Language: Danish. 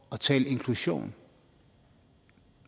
at tale inklusion